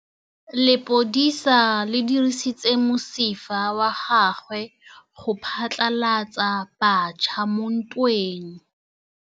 Lepodisa le dirisitse mosifa wa gagwe go phatlalatsa batšha mo ntweng.